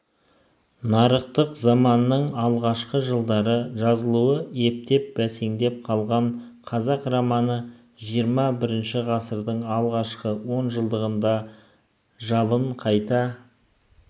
нарықтық заманның алғашқы жылдары жазылуы ептеп бәсеңдеп қалған қазақ романы жиырма бірінші ғасырдың алғашқы он жылдығында жалын қайта